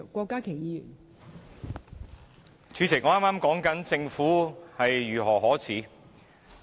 代理主席，我剛才說到政府如何可耻。